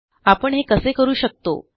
आपण हे कसे करू शकतो